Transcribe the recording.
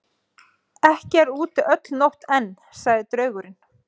Ekki er úti öll nótt enn, sagði draugurinn.